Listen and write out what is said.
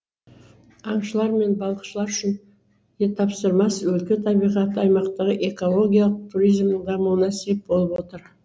аңшылар мен балықшылар үшін де тапсырмас өлке табиғаты аймақтағы экологиялық туризмнің дамуына сеп болып отыр